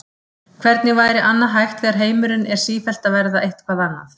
Hvernig væri annað hægt þegar heimurinn er sífellt að verða eitthvað annað?